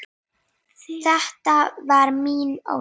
. þetta var mín ósk.